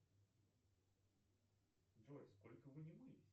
джой сколько вы не мылись